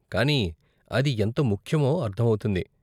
కానీ అది ఎంత ముఖ్యమో అర్ధమవుతుంది.